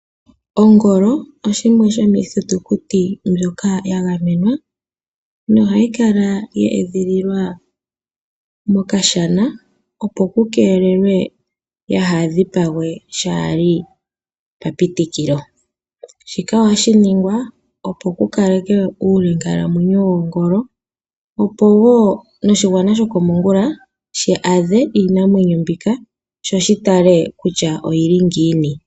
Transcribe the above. Ongola oshimwe sho miithitukuti mbyoka ya gamenwa nohayi kala ye edhililwa mokashana opo ku keelelwe ya haa dhipagwe. Shika ohashiningwa opo kukalekwe uu linkamwenyo wo ngolo opo woo noshiwana shoko mongula shaadhe iinamwenyo mbika sho shi tale kutya oyili ngiini.